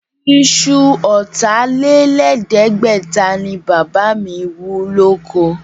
Isu ọ̀tà-lé-lẹ̀ẹ́dẹ́gbẹ̀ta ni Bàbá mi wú lóko.